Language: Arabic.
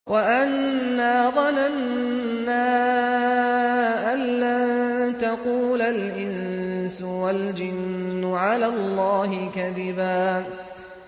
وَأَنَّا ظَنَنَّا أَن لَّن تَقُولَ الْإِنسُ وَالْجِنُّ عَلَى اللَّهِ كَذِبًا